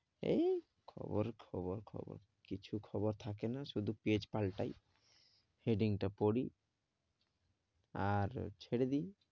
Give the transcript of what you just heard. এই খবর খবর খবর কিছু খবর থাকে না, শুধু পেজ পাল্টায়, heading টা পড়ি আর ছেড়ে দি.